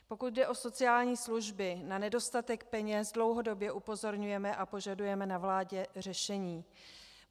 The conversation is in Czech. Pokud jde o sociální služby, na nedostatek peněz dlouhodobě upozorňujeme a požadujeme na vládě řešení.